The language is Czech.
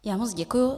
Já moc děkuji.